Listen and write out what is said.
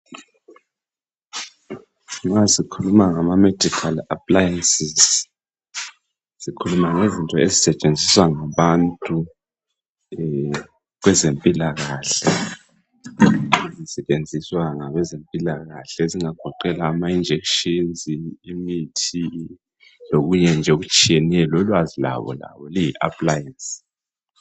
Ma sikhuluma ngama medical appliances sikhuluma ngezinto ezisetshenziswa ngabantu kwezempilakahle ezingagoqela ama injection imithi lokunye okutshiyeneyo lolwazi lwabo lalo luyi appliance.